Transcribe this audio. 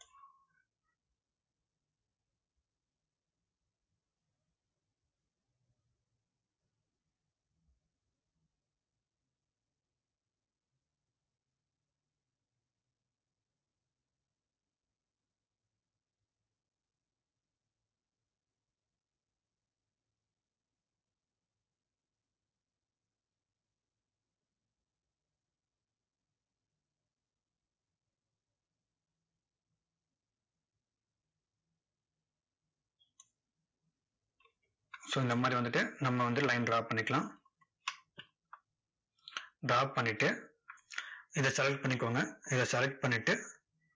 so இந்த மாதிரி வந்துட்டு, நம்ம வந்து line draw பண்ணிக்கலாம். draw பண்ணிட்டு, இதை select பண்ணிக்கோங்க. இதை select பண்ணிட்டு,